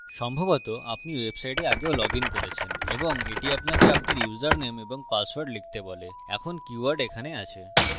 সম্ভবত আপনি website আগেও লগইন করেছেন এবং এটি আপনাকে আপনার ইউসারনেম এবং পাসওয়ার্ড লিখতে বলে এখন keywords এখানে আছে